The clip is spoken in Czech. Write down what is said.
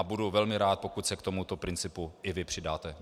A budu velmi rád, pokud se k tomuto principu i vy přidáte.